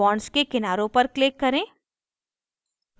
bonds के किनारों पर click करें